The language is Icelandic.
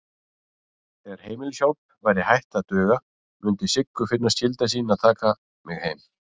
Þegar heimilishjálp væri hætt að duga mundi Siggu finnast skylda sín að taka mig heim.